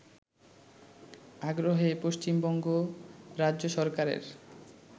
আগ্রহে পশ্চিমবঙ্গ রাজ্য সরকারের